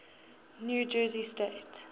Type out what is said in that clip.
new jersey state